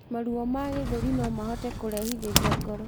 Maruo ma gĩthũri nomahote kurehithirĩa ngoro